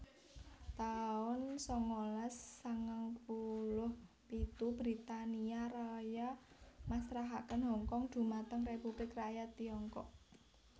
taun sangalas sangang puluh pitu Britania Raya masrahaken Hongkong dhumateng Republik Rakyat Tiongkok